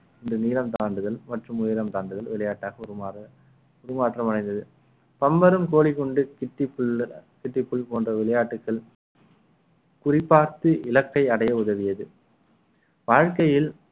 இந்த நீளம் தாண்டுதல் மற்றும் உயரம் தாண்டுதல் விளையாட்டாக உருமாற உருமாற்றம் அடைந்தது பம்பரும் கோழி குண்டு டிக் டிக் போன்ற விளையாட்டுக்கள் குறிபார்த்து இலக்கை அடைய உதவியது வாழ்க்கையில்